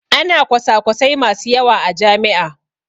Ana kwasakwasai masu yawa a jami'a.